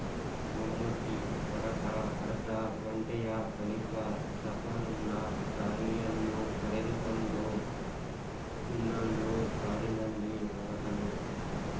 ಮಮ್ಮೂಟಿ ಹೊರಟ ಅರ್ಧ ಗಂಟೆಯ ಬಳಿಕ ಸಫರುಲ್ಲ ತಾಯಿಯನ್ನು ಕರೆದುಕೊಂಡು ಇನ್ನೊಂದು ಕಾರಿನಲ್ಲಿ ಹೊರಟನು